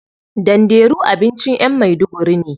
Danderu abincin yan maiduguri ne.